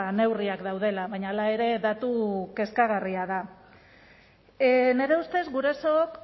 neurriak daudela baina hala ere datu kezkagarria da nire ustez gurasok